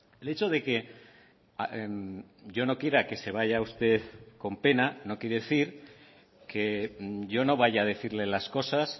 el hecho de que yo no quiera que se vaya usted con pena no quiere decir que yo no vaya a decirle las cosas